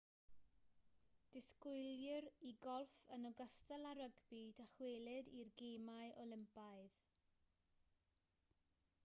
disgwylir i golff yn ogystal â rygbi ddychwelyd i'r gemau olympaidd